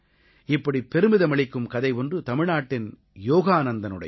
இப்படி பெருமிதமளிக்கும் கதை ஒன்று தமிழ்நாட்டின் யோகானந்தனுடையது